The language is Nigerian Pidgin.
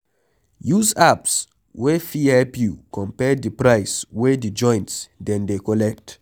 Use apps wey fit help you compare di price wey di joints dem dey collect